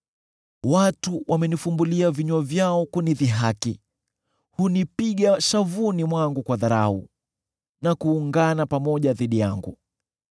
Watu wamenifumbulia vinywa vyao kunidhihaki; hunipiga shavuni mwangu kwa dharau, na kuungana pamoja dhidi yangu.